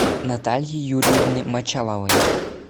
натальи юрьевны мочаловой